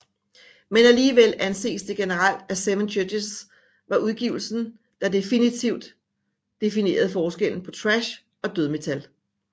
Men alligevel anses det generelt at Seven Churches var udgivelsen der difinitivt definerede forskellen på thrash og dødmetal